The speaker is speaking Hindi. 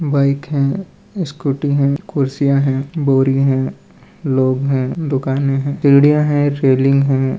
बाइक है स्कूटी है कुर्सियां है बोरी है लोग है दुकाने है सीढ़िया है स्वीलिंग है।